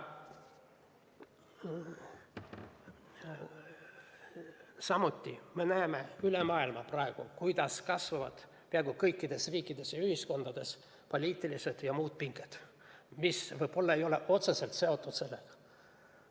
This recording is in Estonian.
Samuti näeme üle maailma, kuidas peaaegu kõikides riikides ja ühiskondades kasvavad poliitilised ja muud pinged, mis võib-olla ei ole otseselt seotud sellega.